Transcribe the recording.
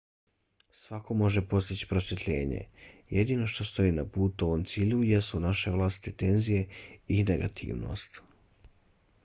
svako može postići prosvjetljenje. jedino što stoji na putu ovom cilju jesu naše vlastite tenzije i negativnost